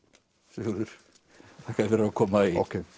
Sigurður þakka þér fyrir að koma í